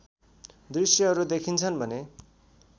दृश्यहरू देखिन्छन् भने